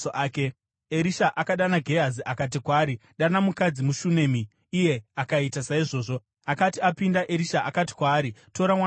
Erisha akadana Gehazi akati kwaari, “Dana mukadzi muShunami.” Iye akaita saizvozvo. Akati apinda, Erisha akati kwaari, “Tora mwanakomana wako.”